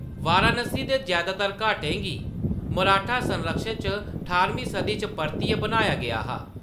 वाराणसी दे जैदातर घाटें गी मराठा संरक्षण च ठारमीं सदी च परतियै बनाया गेआ हा।